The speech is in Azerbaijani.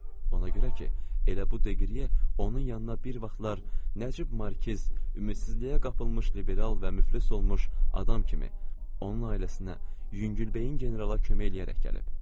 Ona görə ki, elə bu deqriyə onun yanına bir vaxtlar nəcib markiz ümidsizliyə qapılmış liberal və müflis olmuş adam kimi, onun ailəsinə yüngülbəyin generala kömək eləyərək gəlib.